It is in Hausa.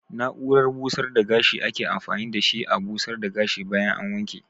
Na'urar busar da gashi ake amfani da shi a busar da gashi bayan an wanke.